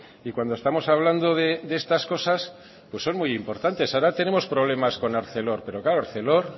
y cuando estamos hablando de estas cosas pues son muy importantes ahora tenemos problemas con arcelor pero claro arcelor